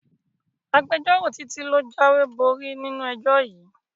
Agbẹjọ́rò Títí ló jáwéborí nínú ẹjọ́ yìí